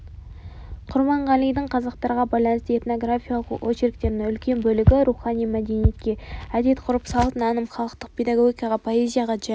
құрбанғалидың қазақтарға байланысты этнографиялық очерктерінің үлкен бөлігі рухани мәдениетке әдет-ғұрып салт наным халықтық педагогика поэзия және